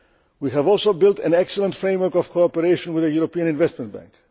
We have also built an excellent framework of cooperation with the European Investment